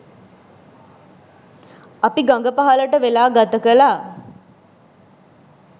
අපි ගඟ පහළට වෙලා ගත කළා.